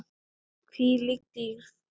Hvílík dýrð.